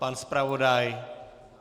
Pan zpravodaj?